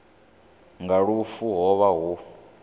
nga lufu ho vha hu